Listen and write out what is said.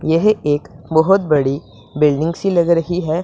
यह एक बहोत बड़ी बिल्डिंग सी लग रही है।